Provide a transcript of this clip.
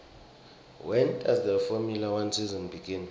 when does the formula one season begin